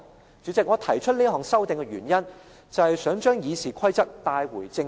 "代理主席，我提出這項修訂的原因，就是想將《議事規則》帶回正軌。